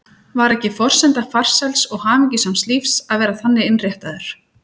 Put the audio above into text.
Var ekki forsenda farsæls og hamingjusams lífs að vera þannig innréttaður?